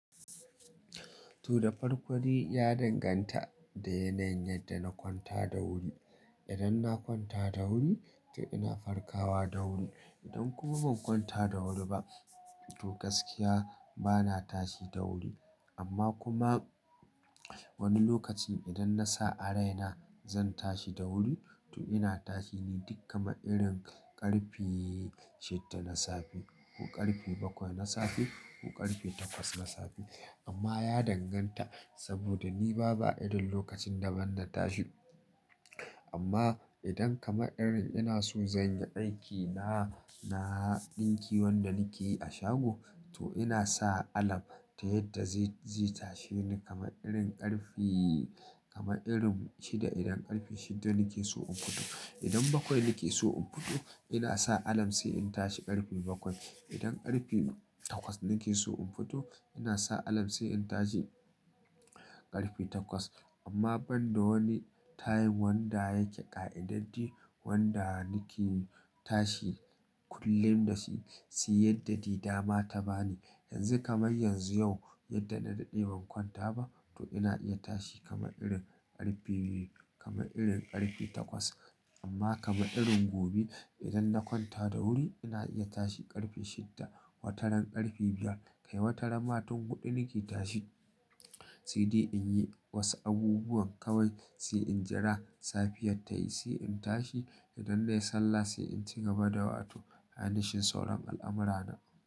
To, da farko dai ya danganta da yanayin yadda na kwanta da wuri. Idan na kwanta da wuri, to ina farkawa da wuri. Idan kuma ban kwanta da wuri ba, to gaskiya bana tashi da wuri. Amma kuma wani lokacin idan na sa a raina zan tashi da wuri, to ina tashi ni duk kamar irin ƙarfe shidda na safe ko ƙarfe bakwai na safe ko ƙarfe takwas na safe. Amma ya danganta saboda ni ba, ba irin lokacin da ban na tashi. Amma idan kamar irin ina so zan yi aiki na, na ɗinki wanda nake yi a shago, to ina sa alarm ta yadda zai, zai tashe ni kamar irin ƙarfi, kamar irin shida idan ƙarfi shidda nake so in fito. Idan bakwai nake so in fito, ina sa alarm sai in tashi ƙarfi bakwai. Idan ƙarfe takwas nake so in fito, ina sa alarm sai in tashi ƙarfi takwas. Amma ban da wani time wanda yake ƙa'idaddi wanda nake tashi kullum da shi, shi yadda dai da ma ta bani. Yanzu kamar yanzu yau yadda na daɗe ban kwanta ba, to ina iya tashi kamar irin ƙarfe biyu, kamar irin ƙarfi takwas. Amma kamar irin gobe idan na kwanta da wuri ina iya tashi ƙarfe shidda, wataran ƙarfe biyar, kai wataran ma tun huɗu nake tashi. Sai dai in yi wasu abubuwan kawai sai in jira safiyar ta yi sai in tashi idan na yi sallah sai in ci gaba da wato, hanyar shan sauran al'amurana.